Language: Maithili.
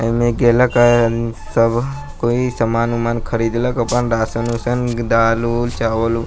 आ इमें गेला के आदमी सब कोई समान-उमान ख़रीदलक अपन राशन-उशन दाल-उल चावल-उ --